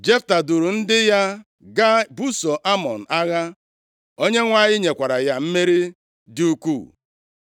Jefta duuru ndị agha ya gaa ibuso Amọn agha. Onyenwe anyị nyekwara ya mmeri dị ukwuu.